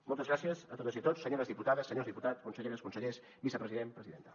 moltes gràcies a totes i tots senyores diputades senyors diputats conselleres consellers vicepresident presidenta